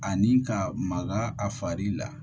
Ani ka maga a fari la